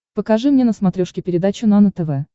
покажи мне на смотрешке передачу нано тв